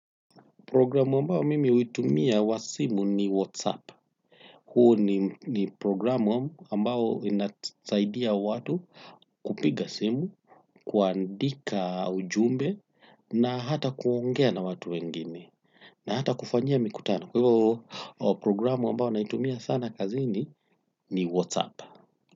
Programu ambao mimi huitumia wa simu ni Whatsapp. Huo ni ni programu ambao inasaidia watu kupiga simu, kuandika ujumbe na hata kuongea na watu wengine na hata kufanyia mikutano. Kwa hiyo programu ambao naitumia sana kazini ni Whatsapp.